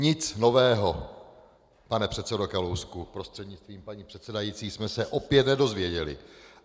Nic nového, pane předsedo Kalousku prostřednictvím paní předsedající, jsme se opět nedozvěděli.